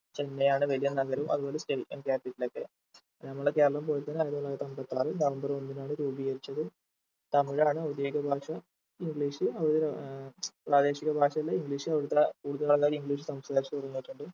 ചെന്നൈ ആണ് വലിയ നഗരം അതുപോലെ state and capital ആയിറ്റ്‌ പിന്നെ നമ്മളെ കേരളം പോലെ തന്നെ ആയിരത്തി തൊള്ളായിരത്തി അമ്പത്താറ് നവംബർ ഒന്നിനാണ് രൂപീകരിച്ചത് തമിഴാണ് ഔദ്യോഗിക ഭാഷ English അവര് ഏർ പ്രാദേശിക ഭാഷയിൽ English അവിടുത്തെ കൂടുതൽ ആൾക്കാർ English സംസാരിച്ച് തുടങ്ങിട്ടുണ്ട്